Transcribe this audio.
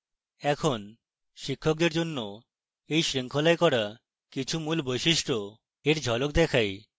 এখন শিক্ষকদের জন্য এই শৃঙ্খলায় করা কিছু মূল বৈশিষ্ট্য এর ঝলক দেখাই